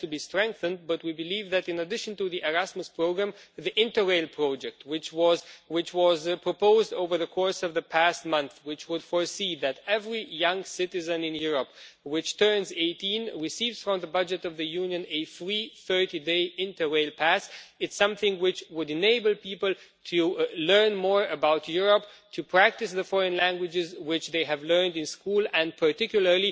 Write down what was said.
It has to be strengthened, but we believe that in addition to the Erasmus programme, the Interrail project which was proposed over the course of the past month and which would enable every young citizen in Europe who turns 18 to receive from the budget of the Union a free 30 day Interrail pass is something which would enable people to learn more about Europe, to practice the foreign languages which they have learned in school, and, in particular,